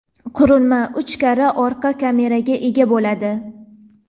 qurilma uch karra orqa kameraga ega bo‘ladi.